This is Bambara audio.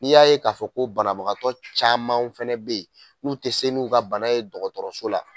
N'i y'a ye k'a fɔ ko banabagatɔ camanw fɛnɛ be yen n'u tɛ se n'u ka bana ye dɔgɔtɔrɔso la